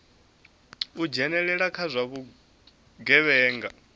u dzhenelela kha zwa vhugevhenga